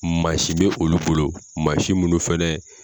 Mansin bɛ olu bolo mansin munnu fɛnɛ